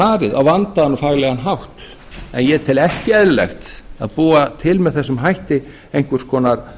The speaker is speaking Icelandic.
farið á vandaðan og faglegan hátt en ég tel ekki eðlilegt að búa til með þessum hætti einhvers konar